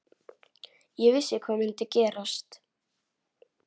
Ég vissi hvað myndi gerast.